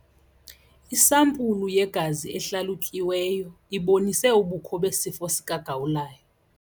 Isampulu yegazi ehlalutyiweyo ibonise ubukho besifo sikagawulayo.